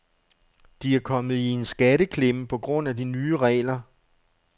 De er kommet i en skatteklemme på grund af de nye regler.